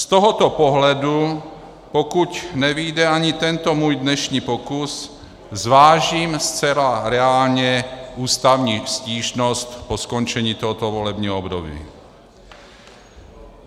Z tohoto pohledu, pokud nevyjde ani tento můj dnešní pokus, zvážím zcela reálně ústavní stížnost po skončení tohoto volebního období.